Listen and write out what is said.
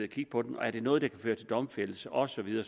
kigge på dem og er det noget der kan føre til domfældelse og så videre